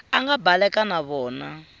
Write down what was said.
a nga baleka na vona